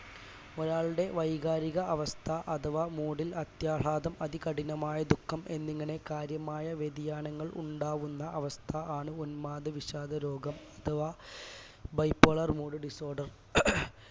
ഒരാളുടെ വൈകാരിക അവസ്ഥ അഥവാ mood ൽ അത്യാഘാതം അതികഠിനമായ ദുഃഖം എന്നിങ്ങനെ കാര്യമായ വ്യതിയാനങ്ങൾ ഉണ്ടാകുന്ന അവസ്ഥ ആണ് ഉന്മാദ വിഷാദരോഗം അഥവാ bipolar mood disorder